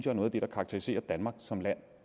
er noget af det der karakteriserer danmark som land